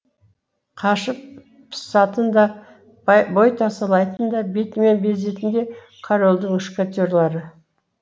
қашып пысатын да бой тасалайтын да бетімен безетін де корольдің мушкетерлары